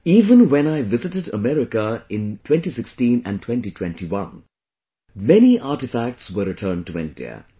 Even when I visited America in 2016 and 2021, many artefacts were returned to India